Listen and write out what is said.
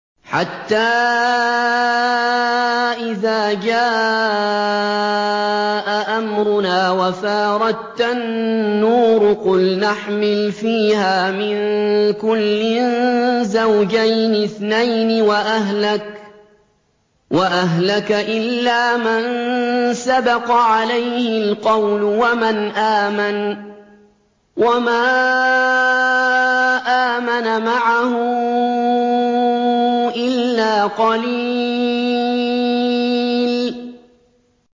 حَتَّىٰ إِذَا جَاءَ أَمْرُنَا وَفَارَ التَّنُّورُ قُلْنَا احْمِلْ فِيهَا مِن كُلٍّ زَوْجَيْنِ اثْنَيْنِ وَأَهْلَكَ إِلَّا مَن سَبَقَ عَلَيْهِ الْقَوْلُ وَمَنْ آمَنَ ۚ وَمَا آمَنَ مَعَهُ إِلَّا قَلِيلٌ